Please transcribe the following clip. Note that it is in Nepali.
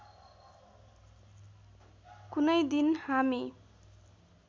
कुनै दिन हामी